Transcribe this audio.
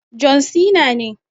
John Cena ne.